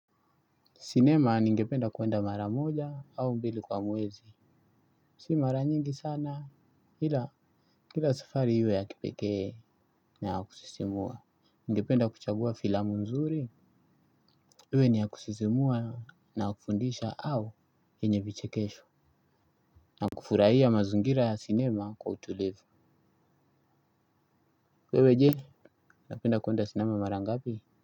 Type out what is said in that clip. Sinema ningependa kuenda mara moja au mbili kwa mwezi. Si mara nyingi sana ila kila safari iwe ya kipekee na ya kusisimua. Ningependa kuchagua filamu nzuri iwe ni ya kusisimua na ya kufundisha au yenye vichekesho. Na kufurahia mazingira ya sinema kwa utulivu wewe je, unapenda kuenda sinema mara ngapi.